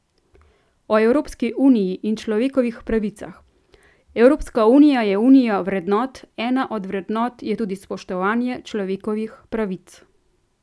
O Evropski uniji in človekovih pravicah: 'Evropska unija je unija vrednot, ena od vrednot je tudi spoštovanje človekovih pravic.